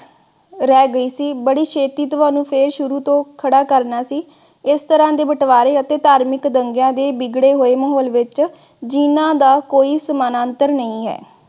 ਰਹਿ ਗਈ ਸੀ ਬੜੀ ਛੇਤੀ ਤੁਹਾਨੂੰ ਫਿਰ ਸ਼ੁਰੂ ਤੋਂ ਖੜਾ ਕਰਨਾ ਸੀ। ਇਸ ਤਰ੍ਹਾਂ ਦੇ ਬਟਵਾਰੇ ਅਤੇ ਧਾਰਮਿਕ ਦੰਗਿਆਂ ਦੇ ਵਿਗੜੇ ਹੋਏ ਮਾਹੌਲ ਦੇ ਵਿਚ ਜਿਨ੍ਹਾਂ ਦਾ ਕੋਈ ਸਮਾਨੰਤਰ ਨਹੀਂ ਹੈ।